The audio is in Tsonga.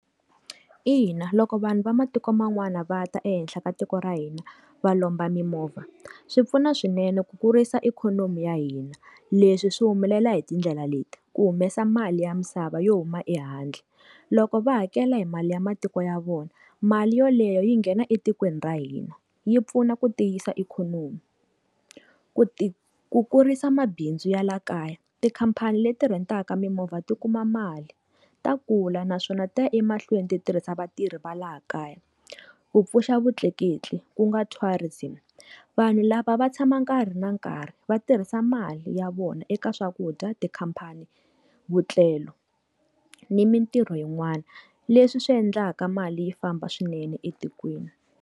Ina loko vanhu va matiko man'wana va ta ehenhla ka tiko ra hina va lomba mimovha swi pfuna swinene ku kurisa ikhonomi ya hina leswi swi humelela hi tindlela leti ku humesa mali ya misava yo huma ehandle loko va hakela hi mali ya matiko ya vona mali yoleyo yi nghena etikweni ra hina yi pfuna ku tiyisa ikhonomi ku ku kurisa mabindzu ya le kaya tikhampani leti rent-aka mimovha ti kuma mali ta kula naswona ta ya emahlweni ti tirhisa vatirhi va laha kaya kupfusha vutleketli ku nga tourism vanhu lava va tshama nkarhi na nkarhi va tirhisa mali ya vona eka swakudya tikhampani vutlelo ni mintirho yin'wana leswi swi endlaka mali yi famba swinene etikweni.